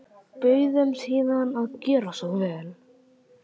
Bauð þeim síðan að gjöra svo vel.